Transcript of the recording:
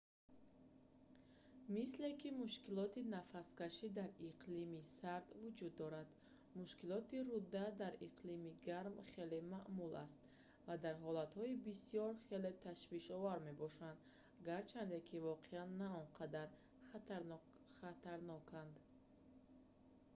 мисле ки мушкилоти нафаскашӣ дар иқлими сард вуҷуд дорад мушкилоти руда дар иқлими гарм хеле маъмул аст ва дар ҳолатҳои бисёр хеле ташвишовар мебошанд гарчанде ки воқеан на он қадар хатарноканд